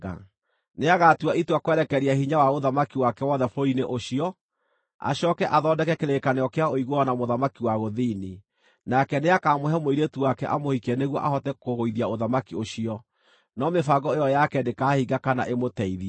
Nĩagatua itua kwerekeria hinya wa ũthamaki wake wothe bũrũri-inĩ ũcio, acooke athondeke kĩrĩkanĩro kĩa ũiguano na mũthamaki wa gũthini. Nake nĩakamũhe mũirĩtu wake amũhikie nĩguo ahote kũgũithia ũthamaki ũcio, no mĩbango ĩyo yake ndĩkahinga kana ĩmũteithie.